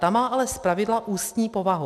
Ta má ale zpravidla ústní povahu.